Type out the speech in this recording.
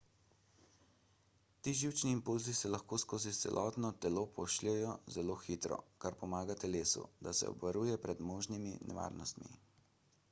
ti živčni impulzi se lahko skozi celotno telo pošljejo zelo hitro kar pomaga telesu da se obvaruje pred možnimi nevarnostmi